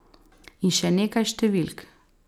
In še nekaj številk.